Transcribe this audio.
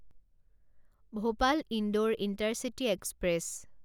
Bhopal Indore intercity express